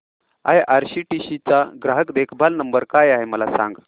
IRCTC चा ग्राहक देखभाल नंबर काय आहे मला सांग